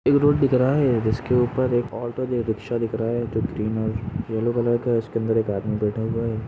एक रोड रहा है जिसके ऊपर एक ओटो और रिक्षा दिख रहा है जो ग्रीन और यल्लो कलर का है उसके अंदर एक आदमी बेठा हुवा है।